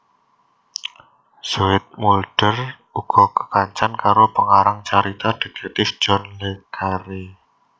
Zoetmulder uga kekancan karo pengarang carita dhétèktif John Le Carré